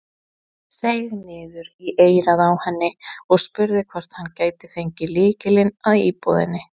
Seig niður í eyrað á henni og spurði hvort hann gæti fengið lykilinn að íbúðinni.